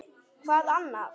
Hvað annað?!